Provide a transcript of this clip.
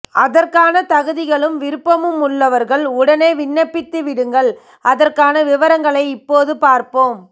அதற்கான தகுதிகளும் விருப்பமும் உள்ளவர்கள் உடனே விண்ணப்பித்துவிடுங்கள் அதற்கான விவரங்களை இப்போது பார்ப்போம்